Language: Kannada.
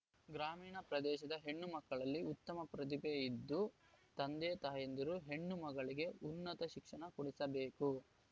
ಗ್ರಾಮೀಣ ಪ್ರದೇಶದ ಹೆಣ್ಣು ಮಕ್ಕಳಲ್ಲಿ ಉತ್ತಮ ಪ್ರತಿಭೆ ಇದ್ದು ತಂದೆ ತಾಯಂದಿರು ಹೆಣ್ಣು ಮಗಳಿಗೆ ಉನ್ನತ ಶಿಕ್ಷಣ ಕೊಡಿಸಬೇಕು